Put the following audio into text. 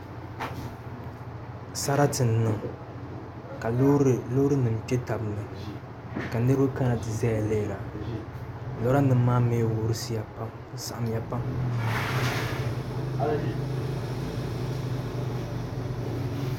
Sarati n niŋ ka loori nim kpɛ tabi ni ka niraba kana ti ʒɛya lihira lora nim maa mii wurisiya pam di saɣamya pam